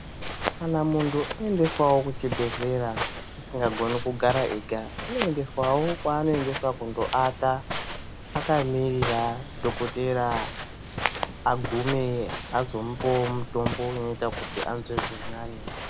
Kana mundu aendeswawo kuchibhedhlera asingagoni kugara ega anoendeswo kwanoda kundoata akamirira dhokoteya agume azomupewo mutombo inoita anzwe zviri nane.